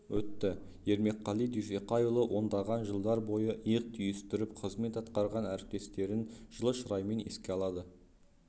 өтті ермекқали дүйсеқайұлы ондаған жылдар бойы иық түйістіріп қызмет атқарған әріптестерін жылы шыраймен еске алады